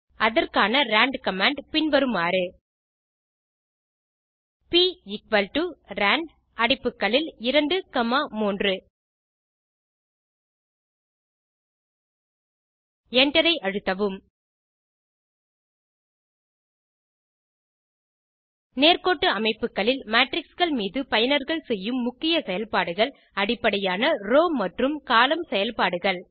அதற்கான rand command பின் வருமாறு prand அடைப்புகளில் 2 3 Enter ஐ அழுத்தவும் நேர்க்கோட்டு அமைப்புகளில் மேட்ரிக்ஸ் கள் மீது பயனர்கள் செய்யும் முக்கிய செயல்பாடுகள் அடிப்படையான ரோவ் மற்றும் கோலம்ன் செயல்பாடுகள்